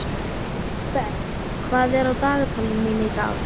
Kristberg, hvað er á dagatalinu mínu í dag?